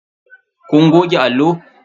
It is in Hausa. Kun goge allo?